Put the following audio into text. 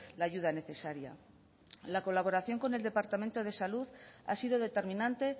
la ayuda necesaria la colaboración con el departamento de salud ha sido determinante